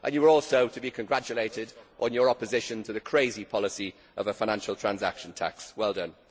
You are also to be congratulated on your opposition to the crazy policy of a financial transaction tax. Well done.